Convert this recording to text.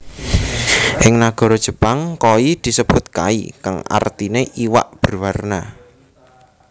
Ing nagara Jepang koi disebut kai kang artiné iwak berwarna